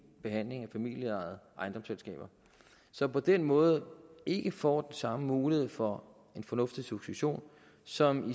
behandling af familieejede ejendomsselskaber som på den måde ikke får samme mulighed for en fornuftig succession som